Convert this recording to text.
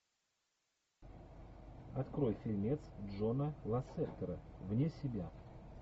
открой фильмец джона лассетера вне себя